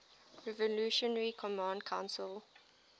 revolutionary command council